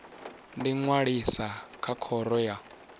ḓi ṅwalisa na khoro ya